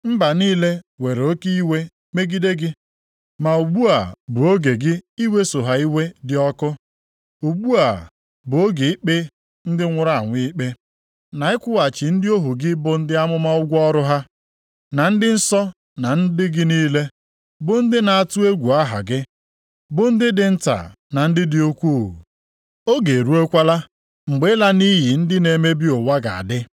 Mba niile were oke iwe megide gị, ma ugbu a bụ oge gị iweso ha iwe dị ọkụ. Ugbu a bụ oge ikpe ndị nwụrụ anwụ ikpe na ịkwụghachi ndị ohu gị bụ ndị amụma ụgwọ ọrụ ha, na ndị nsọ na ndị gị niile, bụ ndị na-atụ egwu aha gị, bụ ndị dị nta na ndị dị ukwuu. Oge eruokwala mgbe ịla nʼiyi ndị na-emebi ụwa ga-adị.”